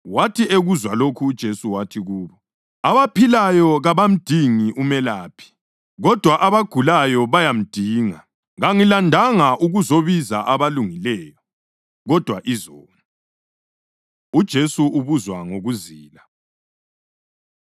Wathi ekuzwa lokho uJesu wathi kubo, “Abaphilayo kabamdingi umelaphi, kodwa abagulayo bayamdinga. Kangilandanga ukuzobiza abalungileyo, kodwa izoni.” UJesu Ubuzwa Ngokuzila